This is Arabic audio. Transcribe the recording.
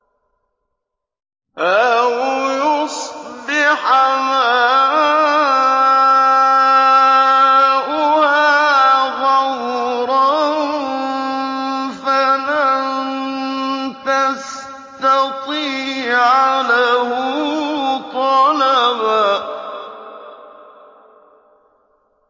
أَوْ يُصْبِحَ مَاؤُهَا غَوْرًا فَلَن تَسْتَطِيعَ لَهُ طَلَبًا